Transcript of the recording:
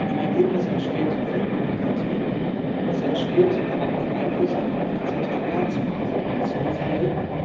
Im Ergebnis entsteht viel Bürokratie, es entsteht aber auch Einfluss etwa auf die Zertifikatspreise im Emissionshandel.